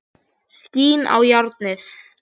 Skín í járnið.